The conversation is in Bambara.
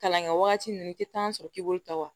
Kalan kɛ wagati min i tɛ taa sɔrɔ k'i bolo ta wa